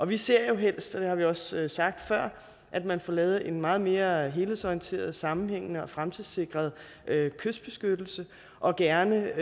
vi ser jo helst og det har vi også sagt før at man får lavet en meget mere helhedsorienteret sammenhængende og fremtidssikret kystbeskyttelse og gerne